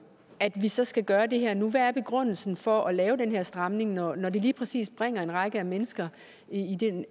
at vi så skal gøre det her nu hvad er begrundelsen for at lave den her stramning når det lige præcis bringer en række mennesker